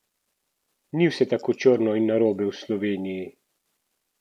Ni vse tako črno in narobe v Sloveniji!